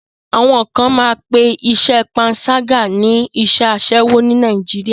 Àwọn kan máa pé iṣẹ́ panṣágà ní iṣẹ́ aṣẹ́wo ní Nàìjíríà.